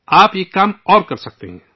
آپ ایک اور کام کر سکتے ہیں